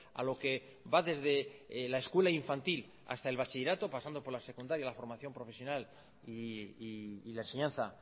a lo que va desde la escuela infantil hasta el bachillerato pasando por la secundaria la formación profesional y la enseñanza